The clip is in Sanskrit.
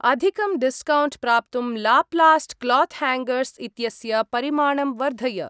अधिकं डिस्कौण्ट् प्राप्तुं लाप्लास्ट् क्लोत् हाङ्गर्स् इत्यस्य परिमाणं वर्धय।